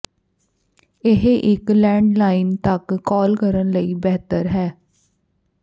ਇਹ ਇੱਕ ਲੈਡਲਾਈਨ ਤੱਕ ਕਾਲ ਕਰਨ ਲਈ ਬਿਹਤਰ ਹੈ